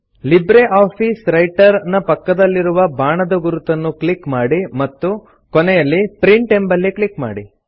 LibreOffice Writer ನ ಪಕ್ಕದಲ್ಲಿರುವ ಬಾಣದ ಗುರುತನ್ನು ಕ್ಲಿಕ್ ಮಾಡಿ ಮತ್ತು ಕೊನೆಯಲ್ಲಿ ಪ್ರಿಂಟ್ ಎಂಬಲ್ಲಿ ಕ್ಲಿಕ್ ಮಾಡಿ